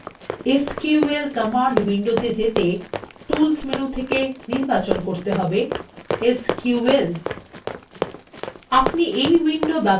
sql command window যেতে tools menu থেকে নির্বাচন করতে হবে এসকিউএল